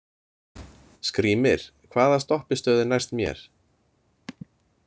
Skrýmir, hvaða stoppistöð er næst mér?